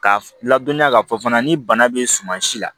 K'a ladɔnniya k'a fɔ fana ni bana bɛ suman si la